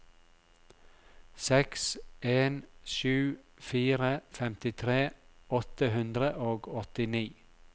seks en sju fire femtitre åtte hundre og åttini